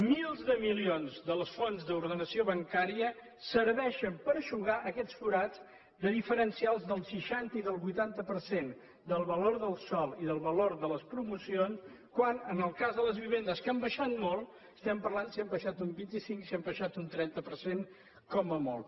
milers de milions del fons d’ordenació bancària serveixen per eixugar aquest forat de diferencials del seixanta i del vuitanta per cent del valor del sòl i del valor de les promocions quan en el cas de les vivendes que han baixat molt estem parlant de si han baixat un vint cinc o han baixat un trenta per cent com a molt